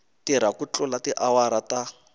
tirha ku tlula tiawara ta